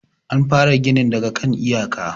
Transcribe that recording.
an fara ginin daga kan iyaka